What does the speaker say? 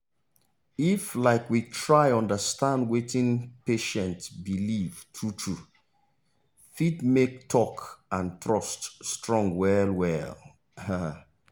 if um we try understand wetin patient believetrue true fit make talk and trust strong well well um